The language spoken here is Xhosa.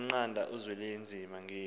wamnqanda uzwelinzima ngeli